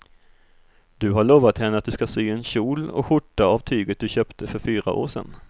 Du har lovat henne att du ska sy en kjol och skjorta av tyget du köpte för fyra år sedan.